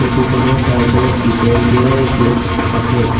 Photo খনৰ side ত দীঘলকে গেট আছে।